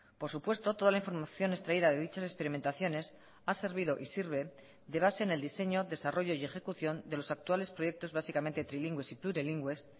por supuesto toda la información extraída de dichas experimentaciones ha servido y sirve de base en el diseño desarrollo y ejecución de los actuales proyectos básicamente trilingües y plurilingües